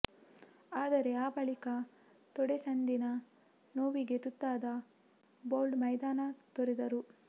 ಆದರೆ ಆ ಬಳಿಕ ತೊಡೆಸಂದಿನ ನೋವಿಗೆ ತುತ್ತಾದ ಬೌಲ್ಟ್ ಮೈದಾನ ತೊರೆದರು